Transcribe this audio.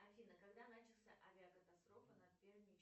афина когда начался авиакатастрофа над